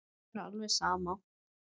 Þeim er alveg sama.